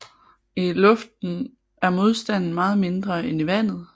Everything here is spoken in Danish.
I luften er modstanden meget mindre end i vandet